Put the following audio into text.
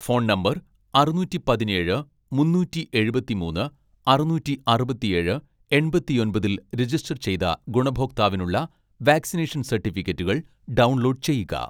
phone number അറുനൂറ്റി പതിനേഴ് മുന്നൂറ്റി എഴുപത്തിമൂന്ന് അറുനൂറ്റി അറുപത്തിയേഴ്‌ എൺപത്തിയൊമ്പതിൽ രജിസ്റ്റർ ചെയ്ത ഗുണഭോക്താവിനുള്ള വാക്സിനേഷൻ സർട്ടിഫിക്കറ്റുകൾ ഡൗൺലോഡ് ചെയ്യുക